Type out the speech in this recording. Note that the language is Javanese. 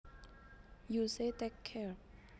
You say Take care